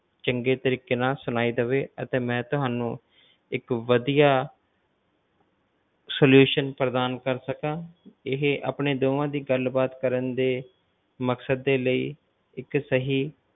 ਚੰਗੇ ਤਰੀਕੇ ਨਾਲ ਸੁਣਾਈ ਦੇਵੇ ਅਤੇ ਮੈਂ ਤੁਹਾਨੂ ਇੱਕ ਵਧੀਆ solution ਪ੍ਰਦਾਨ ਕਰ ਸਕਾਂ ਇਹ ਆਪਣੀ ਦੋਵਾਂ ਦੀ ਗੱਲ ਬਾਤ ਕਰਨ ਦੇ ਮਕਸਦ ਦੇ ਲਈ ਇੱਕ ਸਹੀ,